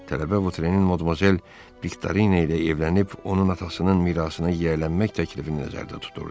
Tələbə Votrenin modmazel Viktorina ilə evlənib onun atasının mirasına yiyələnmək təklifini nəzərdə tuturdu.